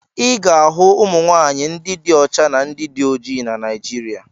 Ị ga-ahụ ụmụ nwaanyị ndị dị ọcha na ndị dị oji na Naịjịrịa.